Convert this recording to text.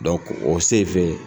o senfɛ.